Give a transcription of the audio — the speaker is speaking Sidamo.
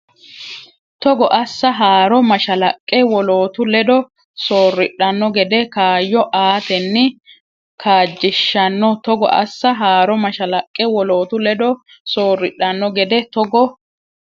Togo assa haaro mashalaqqe wolootu ledo soorridhanno gede kaayyo aatenni kaajjishshanno Togo assa haaro mashalaqqe wolootu ledo soorridhanno gede Togo.